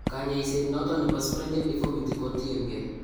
Kanyaiset noton nebo Sprengel deformity ko tien gee